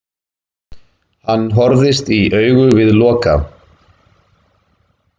Hann horfðist í augu við Loka.